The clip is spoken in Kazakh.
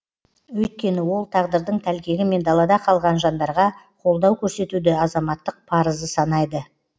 өйткені ол тағдырдың тәлкегімен далада қалған жандарға қолдау көрсетуді азаматтық парызы санайды